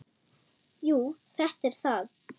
Jú, þetta er það.